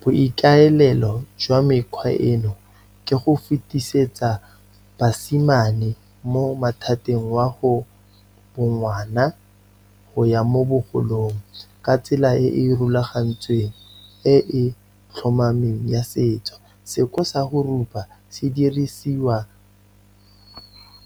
Boikaelelo jwa mekgwa eno, ke go fetisetsa basimane mo mathateng wa go bongwana, go ya mo bogolong, ka tsela e e rulagantsweng, e e tlhomameng ya setso. Seko sa go rupa sedirisiwa